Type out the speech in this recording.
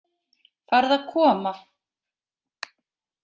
Farðu að koma.